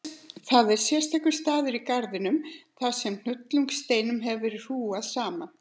Það var sérstakur staður í garðinum, þar sem hnullungssteinum hafði verið hrúgað saman.